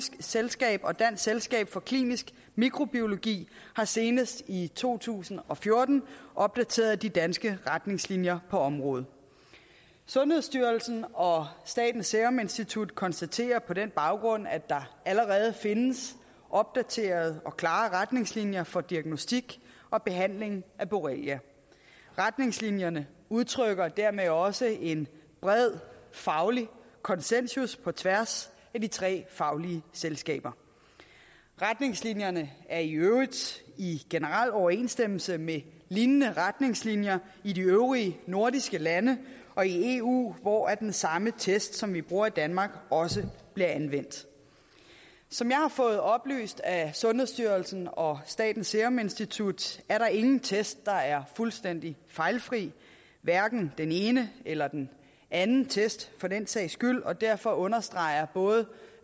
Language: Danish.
selskab og dansk selskab for klinisk mikrobiologi har senest i to tusind og fjorten opdateret de danske retningslinjer på området sundhedsstyrelsen og statens serum institut konstaterer på den baggrund at der allerede findes opdaterede og klare retningslinjer for diagnostik og behandling af borrelia retningslinjerne udtrykker dermed også en bred faglig konsensus på tværs af de tre faglige selskaber retningslinjerne er i øvrigt i generel overensstemmelse med lignende retningslinjer i de øvrige nordiske lande og i eu hvor den samme test som vi bruger i danmark også bliver anvendt som jeg har fået oplyst af sundhedsstyrelsen og statens serum institut er der ingen test der er fuldstændig fejlfri hverken den ene eller den anden test for den sags skyld og derfor understreger både